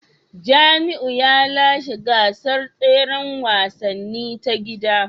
Jamiu ya lashe gasar tseren wasanni ta gida